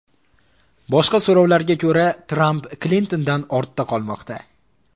Boshqa so‘rovlarga ko‘ra, Tramp Klintondan ortda qolmoqda.